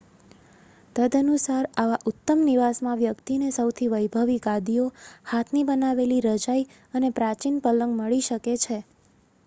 તદનુસાર આવા ઉત્તમ નિવાસમાં વ્યક્તિને સૌથી વૈભવી ગાદીઓ હાથની બનાવેલી રજાઈ અથવા પ્રાચીન પલંગ મળી શકે છે